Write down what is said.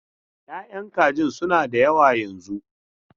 Ya'yan kajin suna da yawa yanzun.